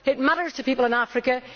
It matters to people in Africa.